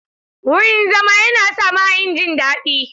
Wurin zama yana sa mahayin jin daɗi.